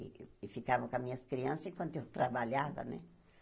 E ficavam com as minhas crianças enquanto eu trabalhava, né?